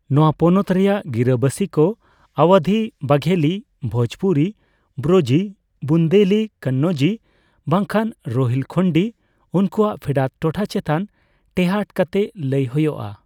ᱱᱚᱣᱟ ᱯᱚᱱᱚᱛ ᱨᱮᱭᱟᱜ ᱜᱤᱨᱟᱹᱵᱟᱹᱥᱤ ᱠᱚ ᱟᱣᱭᱟᱫᱷᱤ, ᱵᱟᱜᱷᱮᱞᱤ, ᱵᱷᱳᱡᱯᱩᱨᱤ, ᱵᱨᱚᱡᱤ, ᱵᱩᱱᱫᱮᱞᱤ, ᱠᱟᱱᱱᱟᱣᱡᱤ ᱵᱟᱝᱠᱷᱟᱱ ᱨᱳᱦᱤᱞᱠᱷᱚᱱᱰᱤ ᱩᱱᱠᱩᱣᱟᱜ ᱯᱷᱮᱰᱟᱛ ᱴᱚᱴᱷᱟ ᱪᱮᱛᱟᱱ ᱴᱮᱦᱟᱴ ᱠᱟᱛᱮ ᱞᱟᱹᱭ ᱦᱳᱭᱳᱜᱼᱟ ᱾